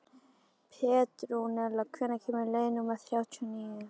Petrúnella, hvenær kemur leið númer þrjátíu og níu?